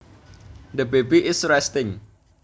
The baby is resting